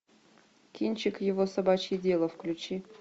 кинчик его собачье дело включи